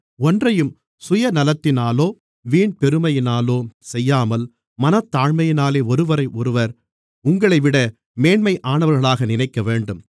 ஒன்றையும் சுயநலத்தினாலோ வீண்பெருமையினாலோ செய்யாமல் மனத்தாழ்மையினாலே ஒருவரையொருவர் உங்களைவிட மேன்மையானவர்களாக நினைக்கவேண்டும்